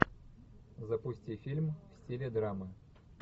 запусти фильм в стиле драмы